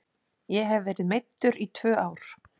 Ég hef verið meiddur í tvö ár.